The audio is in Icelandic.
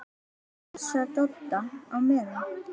ÞÚ PASSAR DODDA Á MEÐAN!